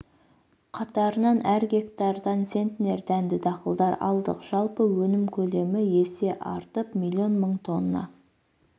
қатарынан әр гектардан центнер дәнді дақылдар алдық жалпы өнім көлемі есе артып миллион мың тонна